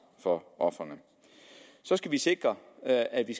for ofrene så skal vi sikre at at vi